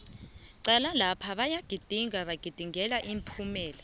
cala lapha bayagidinga bagidingela ipumelelo